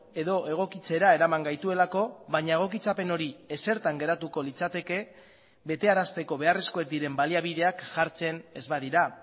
edo egokitzera eraman gaituelako baina egokitzapen hori ezertan geratuko litzateke betearazteko beharrezkoak diren baliabideak jartzen ez badira